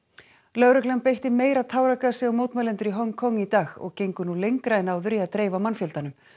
lögreglan beitti meira táragasi á mótmælendur í Hong Kong í dag og gengur nú lengra en áður í að dreifa mannfjöldanum